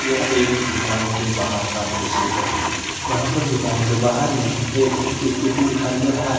यह एक दुकान के बाहर का दृश्य है यहां पर दुकान के बाहर में एक स्कूटी दिखाई दे रहा है।